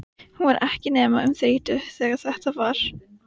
Valíant, hvað heitir þú fullu nafni?